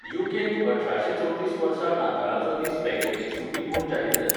UK. त अठराशे चवतीस वर्सा नाताळांचो दीस बँकेची सुटी म्हूण जाहीर जाली.